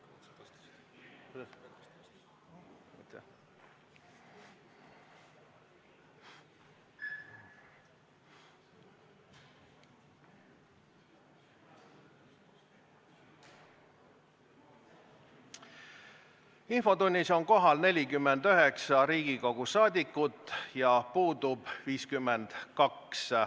Kohaloleku kontroll Infotunnis on kohal 49 Riigikogu liiget, puudub 52.